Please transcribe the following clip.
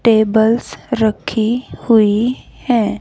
Tables रखी हुई हैं।